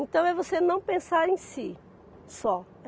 Então é você não pensar em si só.